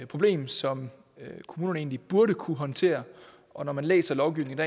problem som kommunerne egentlig burde kunne håndtere og når man læser lovgivningen